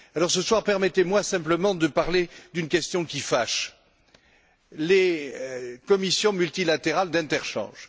Ce soir, permettez moi simplement de parler d'une question qui fâche les commissions multilatérales d'interchange.